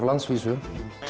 á landsvísu